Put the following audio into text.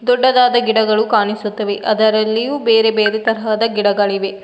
ದೊಡ್ಡದಾದ ಗಿಡಗಳು ಕಾಣಿಸುತ್ತವೆ ಅದರಲ್ಲಿಯೂ ಬೇರೆ ಬೇರೆ ತರಹದ ಗಿಡಗಳಿವೆ.